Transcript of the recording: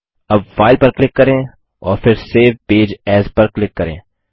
अब फाइल पर क्लिक करें और फिर सेव पेज एएस पर क्लिक करें